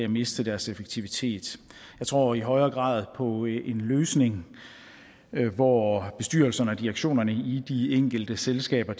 miste deres effektivitet jeg tror i højere grad på en løsning hvor bestyrelserne og direktionerne i de enkelte selskaber